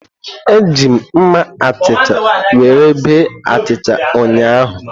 Eji m mma achicha were bee achịcha ụnyahụ.